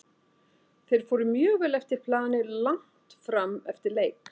Þeir fóru mjög vel eftir plani langt fram eftir leik.